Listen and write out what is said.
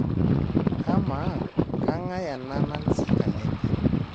Kamaa kang'ae ena Nancy Kalembe